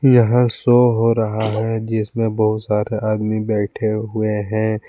यहां शो हो रहा है जिसमें बहुत सारे आदमी बैठे हुए हैं।